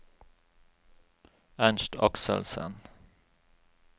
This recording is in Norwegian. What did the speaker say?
Ernst Akselsen